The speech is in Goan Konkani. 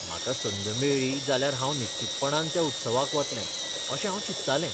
म्हाका संद मेळ्ळी जाल्यार हांव निश्चीतपणान त्या उत्सवाक वतलें. अशें हांव चिंततालें.